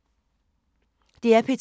DR P2